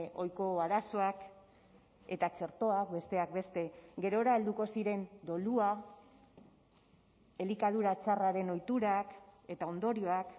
ohiko arazoak eta txertoak besteak beste gerora helduko ziren dolua elikadura txarraren ohiturak eta ondorioak